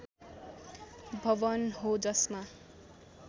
भवन हो जसमा